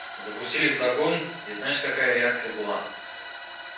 запустили в загон и знаешь какая реакция была